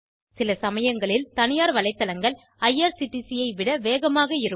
சிலசமயங்களில் தனியார் வலைத்தளங்கள் ஐஆர்சிடிசி ஐ விட வேகமாக இருக்கும்